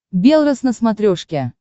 белрос на смотрешке